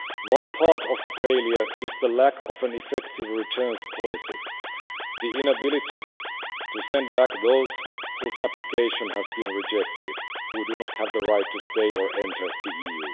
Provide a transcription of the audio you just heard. One part of the failure is the lack of an effective returns policy the inability to send back those whose application has been rejected and who do not have the right to stay or enter the EU.